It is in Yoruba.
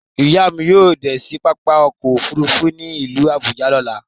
Iya mi yóò de sí pápá ọkọ̀ òfurufú tí ilu Abuja lọ̀là